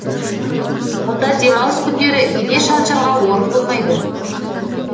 онда демалыс күндері ине шаншарға орын болмайды